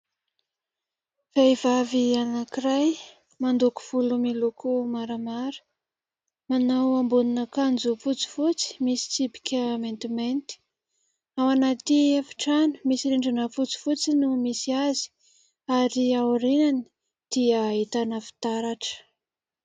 Vehivavy anankiray mandoko volo miloko maramara manao ambonin'akanjo fotsifotsy misy tsipika maintimainty, ao anaty efitrano misy rindrina fotsifotsy no misy azy ary aoriany dia ahitana fitaratra.